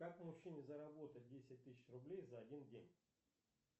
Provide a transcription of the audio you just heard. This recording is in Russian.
как мужчине заработать десять тысяч рублей за один день